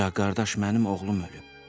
Ancaq qardaş, mənim oğlum ölüb.